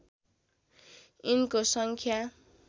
यिनको सङ्ख्या